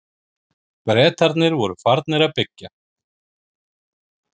Bretarnir voru farnir að byggja.